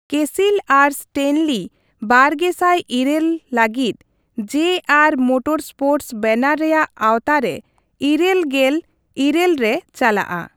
ᱠᱮᱥᱤᱞ ᱟᱨ ᱥᱴᱮᱱᱞᱤ ᱵᱟᱨᱜᱮᱥᱟᱭ ᱤᱨᱟᱹᱞ ᱞᱟᱹᱜᱤᱫ ᱡᱮ ᱟᱨ ᱢᱳᱴᱚᱨ ᱥᱯᱳᱨᱴᱥ ᱵᱮᱱᱟᱨ ᱨᱮᱭᱟᱜ ᱟᱶᱛᱟ ᱨᱮ ᱤᱨᱟᱹᱞ ᱜᱮᱞ ᱤᱨᱟᱹᱞ ᱨᱮ ᱪᱟᱞᱟᱜᱼᱟ ᱾